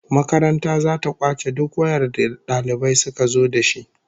Makaranta zata kwace duk wayar da dalibai suka zo dashi